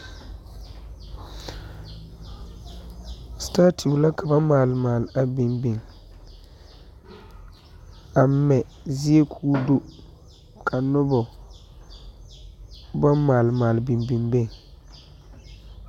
Staatu la ka ba maali maali biŋ biŋ a mɛ zea k'o do ka noba ba maali maali biŋ biŋ beŋ.